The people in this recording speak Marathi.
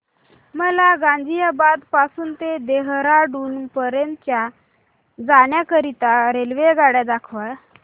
मला गाझियाबाद पासून ते देहराडून पर्यंत जाण्या करीता रेल्वेगाडी दाखवा